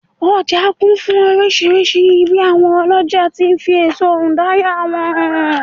ọja kún fún oríṣìíríṣìí bi awon oloja ti n fi eso udara wọn hàn